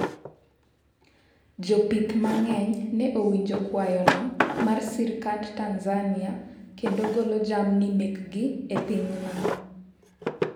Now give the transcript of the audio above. jopith mang'eny ne owinjo kwayono mar sirikand Tanzania kendo golo jamni mekgi e pinyno